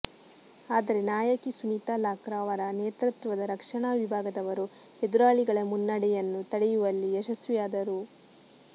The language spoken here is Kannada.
ಆದರೆ ನಾಯಕಿ ಸುನಿತಾ ಲಾಕ್ರಾ ಅವರ ನೇತೃತ್ವದ ರಕ್ಷಣಾ ವಿಭಾಗದವರು ಎದುರಾಳಿಗಳ ಮುನ್ನಡೆಯನ್ನು ತಡೆಯುವಲ್ಲಿ ಯಶಸ್ವಿಯಾದರು